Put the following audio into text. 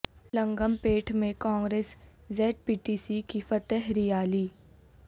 لنگم پیٹ میں کانگریسی Z P T C کی فتح ریالی